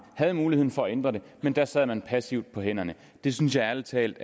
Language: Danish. havde mulighed for at ændre det men da sad man passivt på hænderne jeg synes ærlig talt